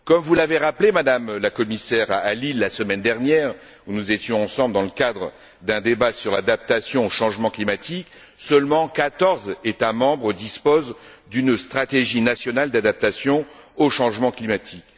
Comme vous l'avez rappelé, Madame la Commissaire, à Lille la semaine dernière, où nous étions ensemble dans le cadre d'un débat sur l'adaptation au changement climatique, seuls quatorze États membres disposent d'une stratégie nationale d'adaptation au changement climatique.